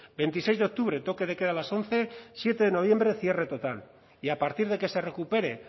veintiseis de octubre toque de queda a las once siete de noviembre cierre total y a partir de que se recupere